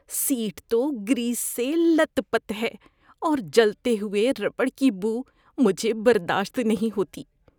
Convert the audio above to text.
Set تو grease سے لت پت ہے اور جلتے ہوئے ربڑ کی بو مجھے برداشت نہیں ہوتی۔